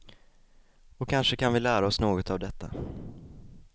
Och kanske kan vi lära oss något av detta.